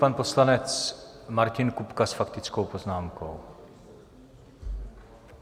Pan poslanec Martin Kupka s faktickou poznámkou.